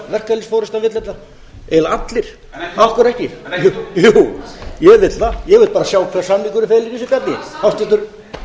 verkalýðsforustan vill þetta eiginlega allir af hverju ekki jú ég vil það ég vil bara sjá hvað samningurinn felur í sér háttvirtur